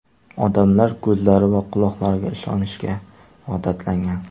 Odamlar ko‘zlari va quloqlariga ishonishga odatlangan.